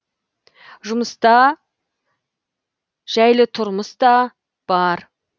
жұмыс та жәйлі тұрмыс та бар